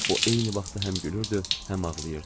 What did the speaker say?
O eyni vaxtda həm gülürdü, həm ağlayırdı.